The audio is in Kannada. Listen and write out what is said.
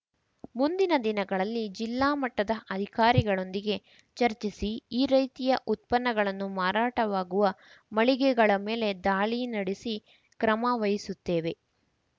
ಮುಂದಿನ ದಿನಗಳಲ್ಲಿ ಜಿಲ್ಲಾ ಮಟ್ಟದ ಅಧಿಕಾರಿಗಳೊಂದಿಗೆ ಚರ್ಚಿಸಿ ಈ ರೀತಿಯ ಉತ್ಪನ್ನಗಳನ್ನು ಮಾರಾಟವಾಗುವ ಮಳಿಗೆಗಳ ಮೇಲೆ ದಾಳಿ ನಡೆಸಿ ಕ್ರಮ ವಹಿಸುತ್ತೇವೆ